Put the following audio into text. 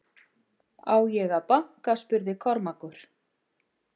Á ég að banka spurði Kormákur.